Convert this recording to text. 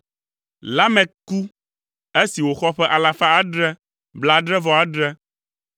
Lamek ku esi wòxɔ ƒe alafa adre blaadre-vɔ-adre (777).